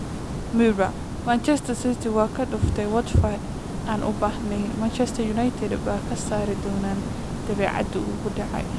(Mirror) Manchester City waa kaa dhuftay Watford aan u baahnayn. Ma Manchester United baa ka saari doona dabeecadda uu ku dhacay?